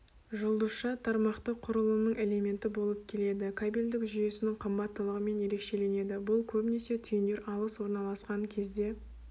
жұлдызша тармақтық құрылымның элементі болып келеді кабельдік жүйесінің қымбаттылығымен ерекшеленеді бұл көбінесе түйіндер алыс орналасқан кезде